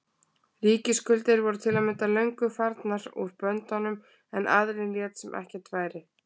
Ríkisskuldir voru til að mynda löngu farnar úr böndunum en aðallinn lét sem ekkert væri.